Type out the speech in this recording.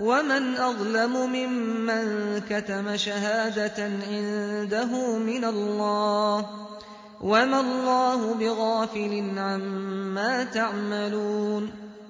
وَمَنْ أَظْلَمُ مِمَّن كَتَمَ شَهَادَةً عِندَهُ مِنَ اللَّهِ ۗ وَمَا اللَّهُ بِغَافِلٍ عَمَّا تَعْمَلُونَ